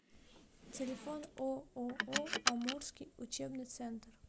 телефон ооо амурский учебный центр